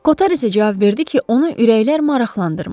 Koter isə cavab verdi ki, onu ürəklər maraqlandırmır.